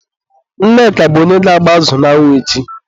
Nneka bụ onye ga-agba azụ n'anwụ echi.